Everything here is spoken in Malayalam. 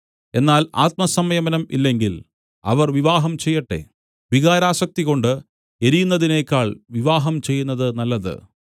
എന്നാൽ ആത്മസംയമനം ഇല്ലെങ്കിൽ അവർ വിവാഹം ചെയ്യട്ടെ വികാരാസക്തികൊണ്ട് എരിയുന്നതിനേക്കാൾ വിവാഹം ചെയ്യുന്നത് നല്ലത്